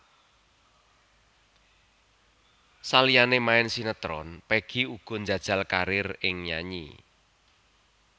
Saliyané main sinétron Peggy uga njajal karir ing nyanyi